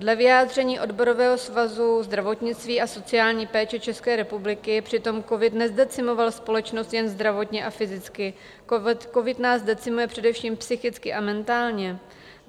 Dle vyjádření Odborového svazu zdravotnictví a sociální péče České republiky přitom covid nezdecimoval společnost jen zdravotně a fyzicky, covid nás decimuje především psychicky a mentálně.